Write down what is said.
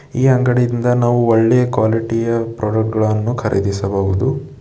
ಈ ಅಂಗಡಿಯಿಂದ ನಾವು ಒಳ್ಳೆಯ ಕ್ವಾಲಿಟಿ ಯ ಪ್ರಾಡಕ್ಟ್ ಗಳನ್ನು ಖರೀದಿಸಬಹುದು.